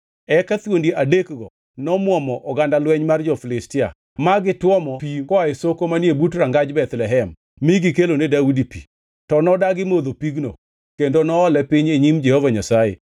Eka thuondi adekgi nomwomo oganda lweny mar jo-Filistia ma gitwomo pi koa e soko manie but rangaj Bethlehem mi gikelone Daudi pi, to nodagi modho pigno, kendo noole piny e nyim Jehova Nyasaye.